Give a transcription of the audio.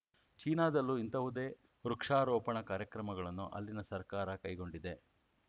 ಚೀನಾದಲ್ಲೂ ಇಂತಹುದೇ ವೃಕ್ಷಾರೋಪಣ ಕಾರ್ಯಕ್ರಮಗಳನ್ನು ಅಲ್ಲಿನ ಸರ್ಕಾರ ಕೈಗೊಂಡಿದೆ